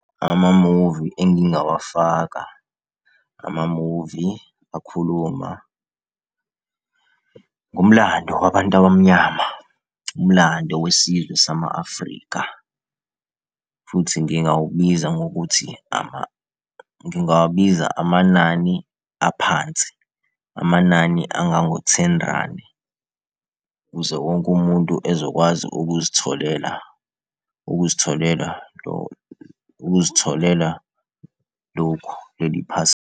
Amamuvi engingawafaka, amamuvi akhuluma ngomlando wabantu abamnyama, umlando wesizwe sama-Afrika. Futhi ngingawubiza ngokuthi ngingawabiza amanani aphansi, amanani engango-ten randi, ukuze wonke umuntu ezokwazi ukuzitholela, ukuzitholela, ukuzitholela lokhu leli .